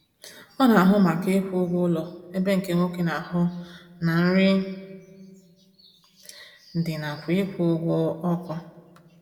Ọ na ahụ maka ịkwụ ụgwọ ụlọ ebe nke nwoke na-ahụ na nri dị nakwa ịkwụ ụgwọ ọkụ